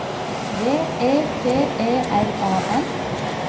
V E T E R A N